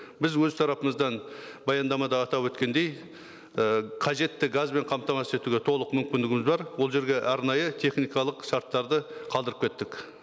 біз өз тарапымыздан баяндамада атап өткендей і қажетті газбен қамтамасыз етуге толық мүмкіндігіміз бар ол жерге арнайы техникалық шарттарды қалдырып кеттік